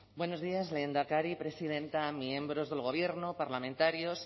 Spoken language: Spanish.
buenos días lehendakari presidenta miembros del gobierno parlamentarias